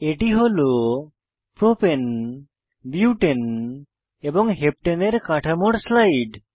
এটি হল propane propane butane butane এবং হেপ্টানে হেপ্টেন এর কাঠামোর স্লাইড